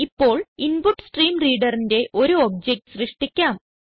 ഇപ്പോൾ InputStreamReaderന്റെ ഒരു ഒബ്ജക്ട് സൃഷ്ടിക്കാം